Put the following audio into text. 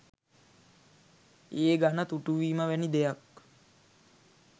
ඒ ගන තුටු වීම වැනි දෙයක්